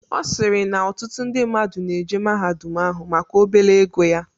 Ọsirii na ọtụtụ ndi mmadụ na-eje mahadum ahụ maka obele ego ya.